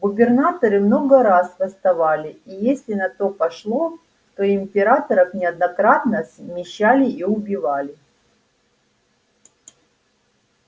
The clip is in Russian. губернаторы много раз восставали и если на то пошло то и императоров неоднократно смещали и убивали